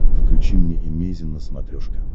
включи мне эмейзин на смотрешке